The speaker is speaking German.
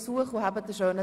Gemäss geltendem Recht.